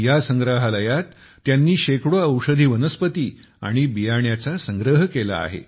या संग्रहालयात त्यांनी शेकडो औषधी वनस्पती आणि बियाण्यांचा संग्रह केला आहे